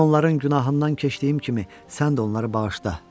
Mən onların günahından keçdiyim kimi, sən də onları bağışla.